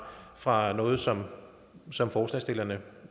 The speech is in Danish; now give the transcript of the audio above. fra noget som som forslagsstillerne